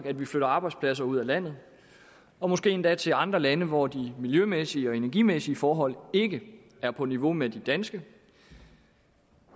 at vi flytter arbejdspladser ud af landet og måske endda til andre lande hvor de miljømæssige og energimæssige forhold ikke er på niveau med de danske